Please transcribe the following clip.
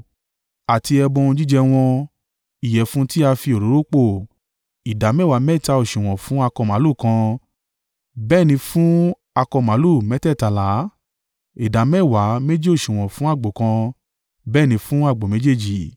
Àti ẹbọ ohun jíjẹ wọn, ìyẹ̀fun tí a fi òróró pò, ìdámẹ́wàá mẹ́ta òsùwọ̀n fún akọ màlúù kan, bẹ́ẹ̀ ni fún akọ màlúù mẹ́tẹ̀ẹ̀tàlá, ìdámẹ́wàá méjì òsùwọ̀n fún àgbò kan, bẹ́ẹ̀ ni fún àgbò méjèèjì,